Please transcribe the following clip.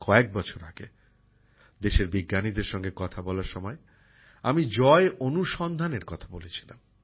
কয়েক বছর আগে দেশের বিজ্ঞানীদের সঙ্গে কথা বলার সময় আমি জয় অনুসন্ধানের কথা বলেছিলাম